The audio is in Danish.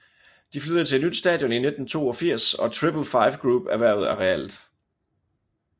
De flyttede til et nyt stadion i 1982 og Triple Five Group erhvervede arealet